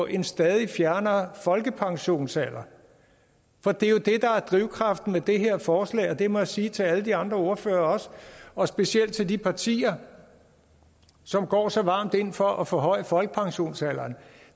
en stadig fjernere folkepensionsalder for det er jo det der er drivkraften bag det her forslag det må jeg sige til alle de andre ordførere også specielt til de partier som går så varmt ind for at forhøje folkepensionsalderen